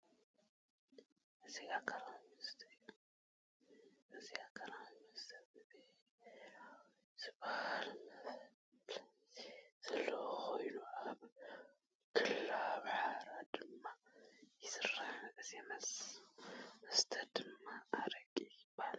እዚ ኣልኮላዊ መስተ እዩ። እዚ ኣልኮላዊ መስተ ብሐራዊ ዝባሃል መፋለጢ ዘለዎ ኮይኑ ኣብ ክልል ኣምሓራ ድማ ይስራሕ። እዚ መስተ ድማ ኣረቂ ይባሃል።